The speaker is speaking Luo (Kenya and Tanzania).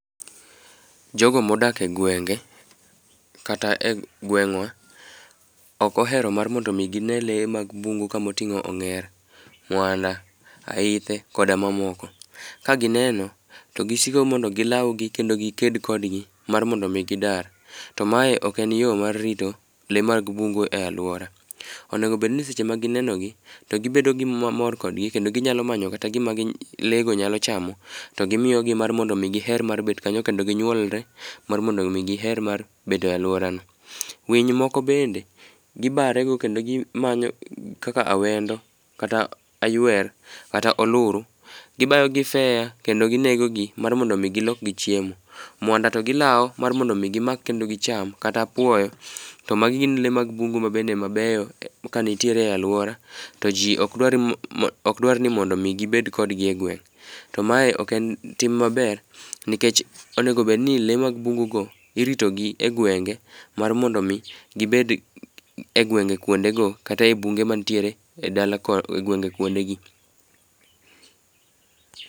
Jogo modak e gwenge kata e gweng'wa, ok ohero mar mondo omi gine lee mag bungu kamoting'o ong'er, mwanda ,aithe koda mamoko. Ka gineno, to gisiko mondo gilaw gi kendo giked kodgi, mar mondo omi gidar. To mae ok en yo mar rito lee mag bungu e alwora. Onego obedni seche ma gineno gi, to gibedo gi mor kodgi kendoi ginyalo manyo kata gima lee go nyalo chamo, to gimiyogi mar mondo giher mar bet kanyo kendo ginyuolre, mar mondo omi giher mar bet e alwora. Winy moko bende gibare go kendo gimanyo kaka awendo, kata aywer, kata oluru, gibayo gi feya kendo ginegogi mar mondo gilokgi chiemo. Mwanda to gilawo mar mondo omi gimak kendo gicham kata apuoyo, to magi gin lee mag bungu ma bende mabeyo ka nitiere e alwora. To ji ok dwar ni mondo omi gibed kodgi egweng'. To mae ok en tim maber, nikech onego obedni lee mag bungu go iritogi e gwenge mar mondo omi gibed e gwenge kwondego kata e bunge mantiere e gwenge kwondegi.